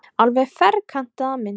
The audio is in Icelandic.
Alveg ferkantaða mynd.